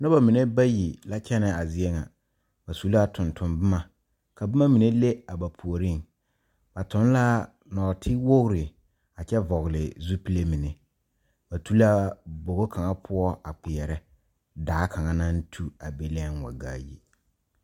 Noba mene bayi la kyɛne a zie ŋa. Ba su la tonton boma. Ka boma mene leŋ a ba pooreŋ. Ba toŋ la norte wogre a kyɛ vogle zupule mene. Ba tu la bɔgo kanga poʊ a kpierɛ. Daa kanga naŋ tu a be lɛŋ wa gaa yi